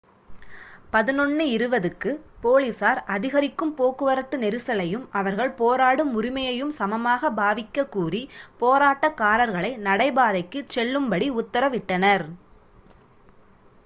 11:20 க்கு போலீசார் அதிகரிக்கும் போக்குவரத்து நெரிசலையும் அவர்கள் போராடும் உரிமையையும் சமமாகப் பாவிக்கக் கூறி போராட்டக்காரர்களை நடைபாதைக்கு செல்லும்படி உத்தரவிட்டனர்